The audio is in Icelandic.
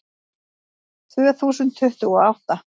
Tvö þúsund tuttugu og átta